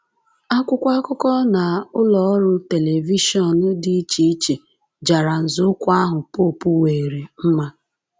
Akwụkwọ akụkọ na ụlọ ọrụ telivishọn dị iche iche jara nzọụkwụ ahụ popu weere mma.